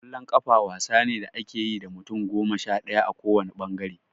Ƙwallon ƙafa wasa ne da ake yi da mutum goma sha ɗaya a ko wanne ɓangare.